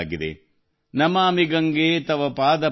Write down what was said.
ನಮಾಮಿ ಗಂಗೆ ತವ ಪಾದ ಪಂಕಜಂ